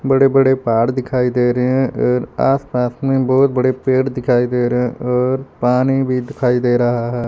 बड़े बड़े पहाड़ दिखाई दे रहे हैं एर आसपास में बहुत बड़े पेड़ दिखाई दे रहे हैं और पानी भी दिखाई दे रहा है।